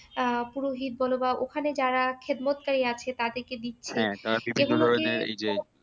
আহ পুরোহিত বলো বা ওখানে যারা খেদমত্তাই আছে তাদেরকে দিচ্ছে